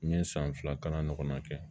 N ye san fila kalan ɲɔgɔnna kɛ